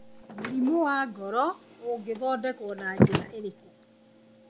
Mũrimũ wa ngoró ũngĩthondekwo na njĩra ĩrĩkũ?